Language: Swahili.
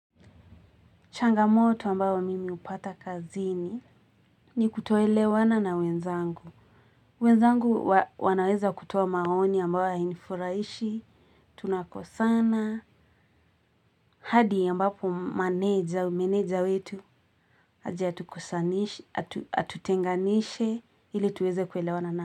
Changamoto ambao mimi hupata kazini, ni kutoelewana na wenzangu. Wenzangu wanaeza kutoa maoni ambao hainifuraishi, tunakosana. Hadi, ambapo manaje au meneja wetu, aje tukosanishi, atutenganishe ili tuweze kuelewana na.